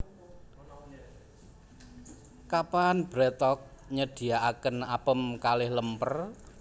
Kapan BreadTalk nyediaaken apem kalih lemper?